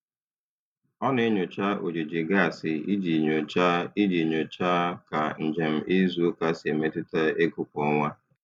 Ọ na-enyocha ojiji gaasị iji nyochaa iji nyochaa ka njem izu ụka si emetụta ego kwa ọnwa.